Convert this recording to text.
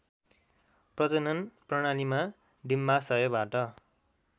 प्रजनन प्रणालीमा डिम्बाशयबाट